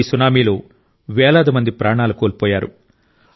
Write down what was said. ఈ సునామీలో వేలాది మంది ప్రాణాలు కోల్పోయారు